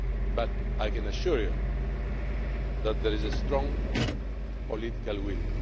But I can assure you that there is a strong political will.